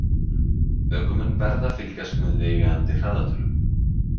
Ökumenn verða að fylgjast með viðeigandi hraðatölum.